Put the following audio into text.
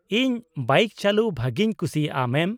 - ᱤᱧ ᱵᱟᱭᱤᱠ ᱪᱟᱹᱞᱩ ᱵᱷᱟᱹᱜᱤᱧ ᱠᱩᱥᱤᱭᱟᱜᱼᱟ, ᱢᱮᱢ ᱾